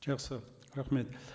жақсы рахмет